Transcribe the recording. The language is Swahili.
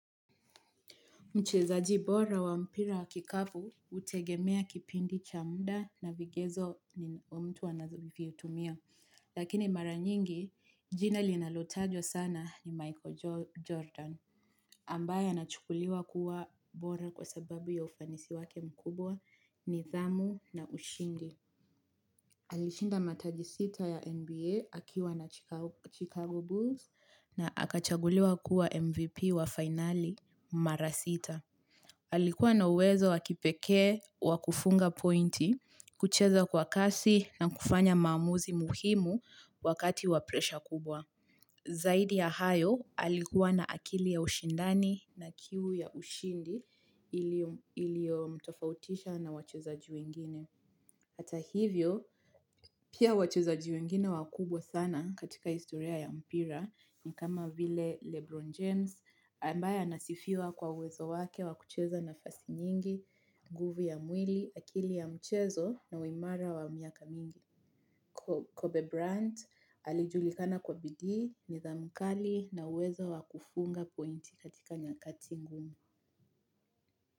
Mchezaji bora wa mpira wa kikapu, hutegemea kipindi cha muda na vigezo ni mtu anazovitumia. Lakini mara nyingi, jina linalotajwa sana ni Michael Jordan. Ambaye anachukuliwa kuwa bora kwa sababu ya ufanisi wake mkubwa nidhamu na ushindi. Alishinda mataji sita ya NBA akiwa na Chicago Bulls na akachaguliwa kuwa MVP wa finali mara sita. Alikuwa na uwezo wa kipekee wa kufunga pointi, kucheza kwa kasi na kufanya maamuzi muhimu wakati wa presha kubwa. Zaidi ya hayo, alikuwa na akili ya ushindani na kiu ya ushindi iliyomtofautisha na wachezaji wengine. Hata hivyo, pia wachezaji wengine wakubwa sana katika historia ya mpira ni kama vile Lebron James ambaye anasifiwa kwa uwezo wake wa kucheza nafasi nyingi, nguvu ya mwili, akili ya mchezo na uimara wa miaka mingi. Kobe Brandt alijulikana kwa bidii nidhamu kali na uwezo wa kufunga pointi katika nyakati ngumu.